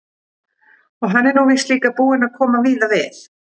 Og hann er nú víst líka búinn að koma víða við.